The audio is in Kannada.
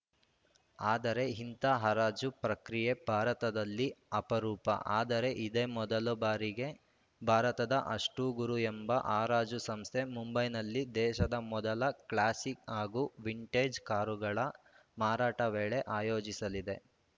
ಆದರೆ ಇಂಥ ಹರಾಜು ಪ್ರಕ್ರಿಯೆ ಭಾರತದಲ್ಲಿ ಅಪರೂಪ ಆದರೆ ಇದೇ ಮೊದಲ ಬಾರಿಗೆ ಭಾರತದ ಅಷ್ಟು ಗುರು ಎಂಬ ಹರಾಜು ಸಂಸ್ಥೆ ಮುಂಬೈನಲ್ಲಿ ದೇಶದ ಮೊದಲ ಕ್ಲಾಸಿಕ್‌ ಹಾಗೂ ವಿಂಟೇಜ್‌ ಕಾರುಗಳ ಮಾರಾಟ ಮೇಳ ಆಯೋಜಿಸಲಿದೆ